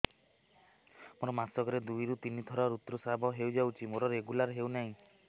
ମୋର ମାସ କ ରେ ଦୁଇ ରୁ ତିନି ଥର ଋତୁଶ୍ରାବ ହେଇଯାଉଛି ମୋର ରେଗୁଲାର ହେଉନାହିଁ